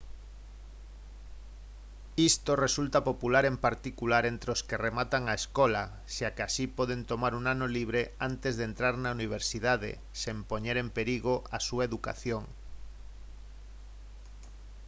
isto resulta popular en particular entre os que rematan a escola xa que así poden tomar un ano libre antes de entrar na universidade sen poñer en perigo a súa educación